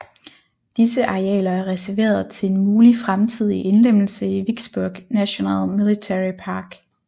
Disse arealer er reserveret til en mulig fremtidig indlemmelse i Vicksburg National Military Park